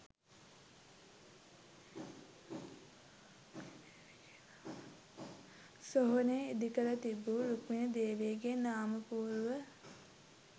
සොහොනේ ඉදිකර තිබූ රුක්මණී දේවියගේ නාමපුවරුව